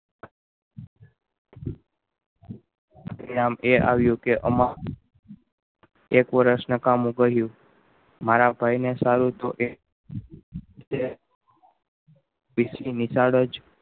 એ આમ એ આવ્યું કે આમાં એક વર્ષ નું કામે કર્યું મારા ભાઈ ને સારું તો એ કેટલી નિશાળો